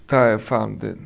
Tá, eu falo